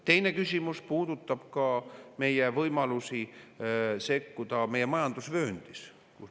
Teine küsimus puudutab meie võimalusi sekkuda meie majandusvööndis.